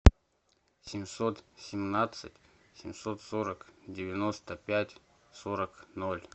семьсот семнадцать семьсот сорок девяносто пять сорок ноль